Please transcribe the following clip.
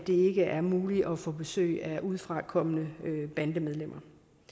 ikke er muligt at få besøg af udefrakommende bandemedlemmer